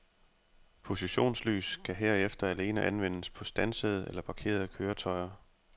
Positionslys kan herefter alene anvendes på standsede eller parkerede køretøjer.